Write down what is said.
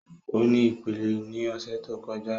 O ni ipele ni ọsẹ to kọja